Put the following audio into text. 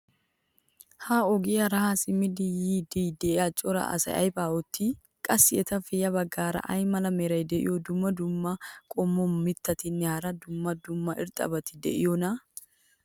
ha ogiyaara haa simmidi yiidi diya cora asay aybaa oottii? qassi etappe ya bagaara ay mala meray diyo dumma dumma qommo mitattinne hara dumma dumma irxxabati de'iyoonaa?